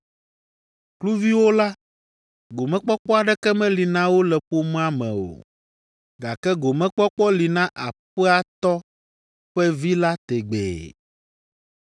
Kluviwo la, gomekpɔkpɔ aɖeke meli na wo le ƒomea me o, gake gomekpɔkpɔ li na aƒea tɔ ƒe vi la tegbee.